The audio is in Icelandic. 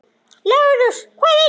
LÁRUS: Hvað heitir hann?